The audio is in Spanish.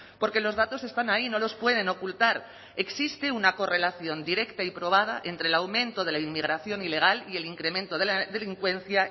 porque los datos están ahí no los pueden ocultar existe una correlación directa y probada entre el aumento de la inmigración ilegal y el incremento de la delincuencia